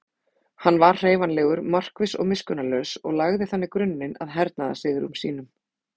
Hann var hreyfanlegur, markviss og miskunnarlaus og lagði þannig grunninn að hernaðarsigrum sínum.